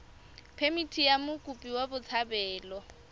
phemithi ya mokopi wa botshabelo